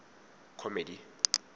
comedy